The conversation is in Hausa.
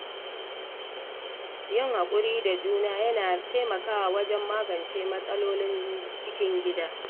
Yin haƙuri da juna yana taimakawa wajen magance matsalolin cikin gida.